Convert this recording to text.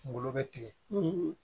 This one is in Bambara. Kunkolo bɛ tigɛ